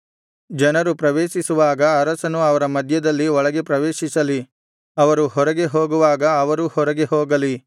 ಜನರು ಪ್ರವೇಶಿಸುವಾಗ ಅರಸನು ಅವರ ಮಧ್ಯದಲ್ಲಿ ಒಳಗೆ ಪ್ರವೇಶಿಸಲಿ ಅವರು ಹೊರಗೆ ಹೋಗುವಾಗ ಅವರೂ ಹೊರಗೆ ಹೋಗಲಿ